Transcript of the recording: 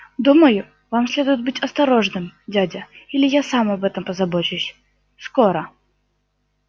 думаю вам следует быть осторожным дядя или я сам об этом позабочусь скоро